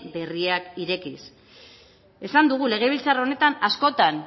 berriak irekiz esan dugu legebiltzar honetan askotan